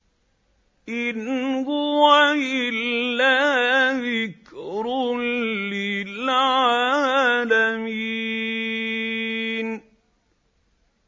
إِنْ هُوَ إِلَّا ذِكْرٌ لِّلْعَالَمِينَ